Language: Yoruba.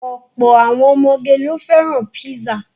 Ọ̀pọ̀ àwọn ọmọge ló fẹ́ràn písà.